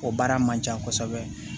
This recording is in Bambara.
O baara man ca kosɛbɛ